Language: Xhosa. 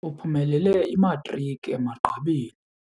Uphumelele imatriki emagqabini.